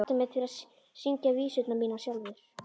Bjarni hvatti mig til að syngja vísurnar mínar sjálfur.